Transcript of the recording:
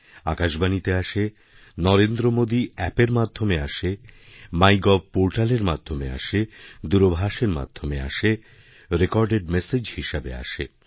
আকাশবাণীতে আসে নরেন্দ্র মোদী অ্যাপের মাধ্যমে আসে মাই গভ পোর্টালেরমাধ্যমে আসে দূরভাষের মাধ্যমে আসে রেকর্ডেড মেসেজ হিসেবে আসে